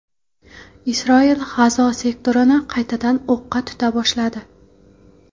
Isroil G‘azo sektorini qaytadan o‘qqa tuta boshladi.